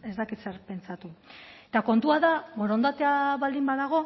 ez dakit zer pentsatu eta kontua da borondatea baldin badago